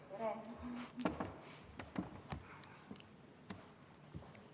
Tere!